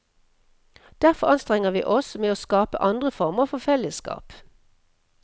Derfor anstrenger vi oss med å skape andre former for fellesskap.